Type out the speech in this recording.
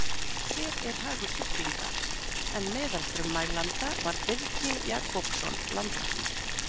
Hver er hagur sjúklinga? en meðal frummælanda var Birgi Jakobsson landlæknir.